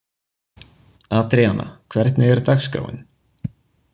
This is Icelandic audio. Adríana, hvernig er dagskráin?